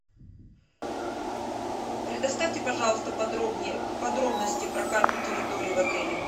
предоставьте пожалуйста подробнее подробности про карту территории в отеле